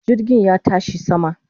Jirgin ya tashi sama